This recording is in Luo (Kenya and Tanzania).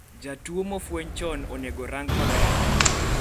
jatuo mofweny chon inego orangi maber